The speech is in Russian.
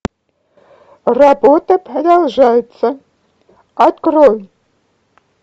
работа продолжается открой